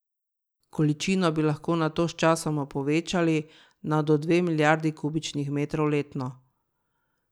Količino bi lahko nato sčasoma povečali na do dve milijardi kubičnih metrov letno.